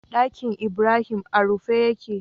Ɗakinibrahim a rufe yake